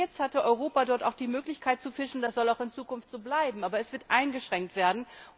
Bis jetzt hatte Europa auch die Möglichkeit, dort zu fischen, das soll auch in Zukunft so bleiben, aber es wird eingeschränkt werden.